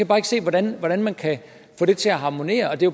bare ikke se hvordan man man kan få det til at harmonere er det